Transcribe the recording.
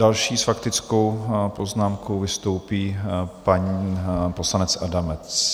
Další s faktickou poznámkou vystoupí pan poslanec Adamec.